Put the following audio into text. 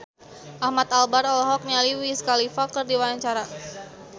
Ahmad Albar olohok ningali Wiz Khalifa keur diwawancara